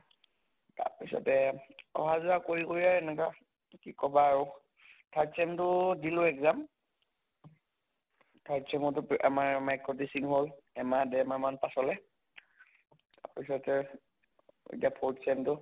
তাৰ পিছতে অহা যোৱা কৰি কৰি য়ে এনেকা কি কʼবা আৰু third sem টো দিলো exam, third sem তো পে আমাৰ micro teaching হʼল, এমাহ দেৰমাহ মান পাছলে, তাত পিছতে এতিয়া fourth sem টো